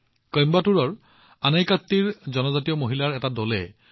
এয়া আছিল কইম্বাটুৰৰ আনাইকাট্টিত জনজাতীয় মহিলাৰ এটা দলৰ দ্বাৰা এক উজ্জ্বল প্ৰচেষ্টা